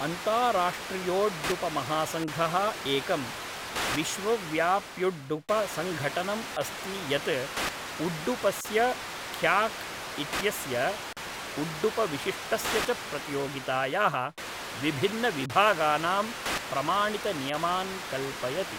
अन्ताराष्ट्रियोड्डुपमहासङ्घः एकं विश्वव्याप्युड्डुपसङ्घटनम् अस्ति यत् उड्डुपस्य खयाक् इत्यस्य उड्डुपविशिष्टस्य च प्रतियोगितायाः विभिन्नविभागानां प्रमाणितनियमान् कल्पयति।